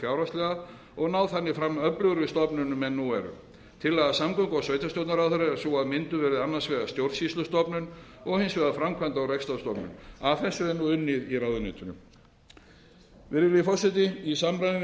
fjárhagslega og ná þannig fram öflugri stofnunum en nú eru tillaga samgöngu og sveitarstjórnarráðherra er sú að mynduð verði annars vegar stjórnsýslustofnun og hins vegar framkvæmda og rekstrarstofnun að þessu er nú unnið í ráðuneytinu virðulegi forseti í samræmi við